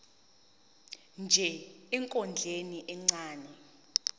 nje ekondleni ingane